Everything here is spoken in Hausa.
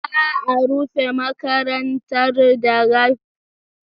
Za a rufe makarantar da karfe shida na yamma.